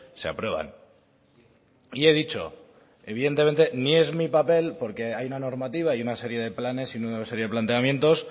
se aprueban y he dicho evidentemente ni es mi papel porque hay una normativa y una serie de planes y una serie de planteamientos